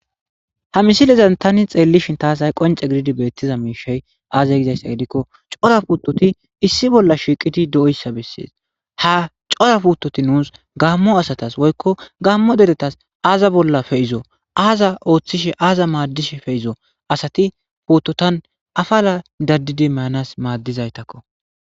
Ha misileza Tani hay xeelishin tas hay qonce gididi betizay aaze gizaysa gidikon cora putoti issi bolla shiqidi de'oysa besses ha cora putoti nus gamo deretad woyko gamo asatas aza bolla pe'izo aza othishe aza madishe asati putotan apala dadisi mayanas madizaytako